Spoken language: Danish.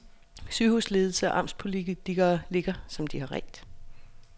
Sygehusledelse og amtspolitikere ligger som de har redt.